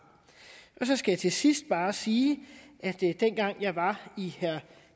så skal jeg til sidst bare sige at dengang jeg var i herre